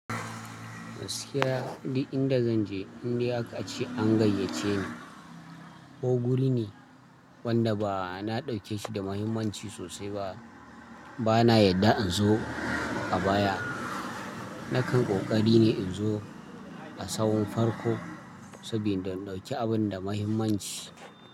Gaskiya ni inda zan je, indai aka ce an gayyace ni ko guri ne wanda ba na ɗauke shi da muhimmanci sosai ba, ba na yadda in zo a baya. Nakan ƙoƙari ne in zo a sahun farko saboda in ɗauki abun da muhimmanci.